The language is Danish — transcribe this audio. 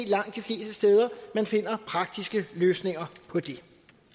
langt de fleste steder finder praktiske løsninger på det